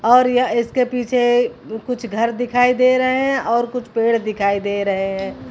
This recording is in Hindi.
और यह इसके पीछे कुछ घर दिखाई दे रहे हैं और कुछ पेड़ दिखाई दे रहे हैं।